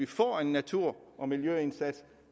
får en natur og miljøindsats